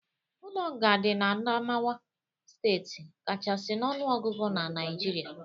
Ụlo nga di na Adamawa steeti kachasi n'ọnuogụgụ na Nigeria